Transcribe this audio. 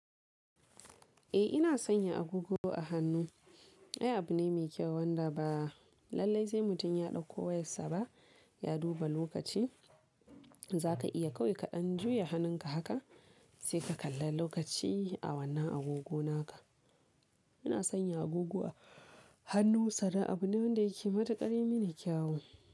Eh ina sanya agogo a hannu. Ai abu ne mai kyau wanda ba lallai sai mutum ya dauko wayarsa ba ya duba lokaci. Zaka iya kawai ka ɗan juya hannunka haka sai ka kalla lokaci a wannan agogo naka. Ina sanya agogo a hannu sannan abu ne wanda yake matukar mi ni kyawu.